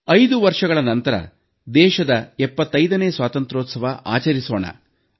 5 ವರ್ಷಗಳ ನಂತರ ದೇಶದ 75ನೇ ಸ್ವಾತಂತ್ರ್ಯೋತ್ಸವ ಆಚರಿಸೋಣ